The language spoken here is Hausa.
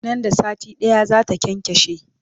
Nan da sati ɗaya zata kyankyashe